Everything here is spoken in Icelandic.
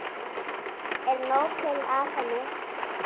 Er nóg til af henni?